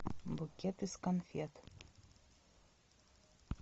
букет из конфет